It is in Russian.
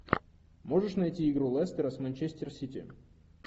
можешь найти игру лестера с манчестер сити